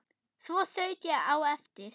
Svo þaut ég á eftir